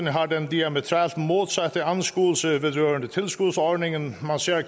har den diametralt modsatte anskuelse vedrørende tilskudsordningen man ser